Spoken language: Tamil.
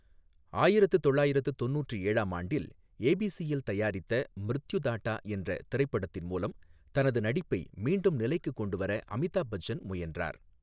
ஆயிரத்து தொள்ளாயிரத்து தொண்ணூற்று ஏழாம் ஆண்டில், ஏபிசிஎல் தயாரித்த மிருத்யுதாட்டா என்ற திரைப்படத்தின் மூலம் தனது நடிப்பை மீண்டும் நிலைக்குக் கொண்டு வர அமிதாப் பச்சன் முயன்றார்.